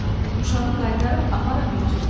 Uşağı qaytarıb aparın yurdsuzlar evinə.